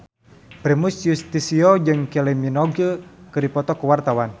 Primus Yustisio jeung Kylie Minogue keur dipoto ku wartawan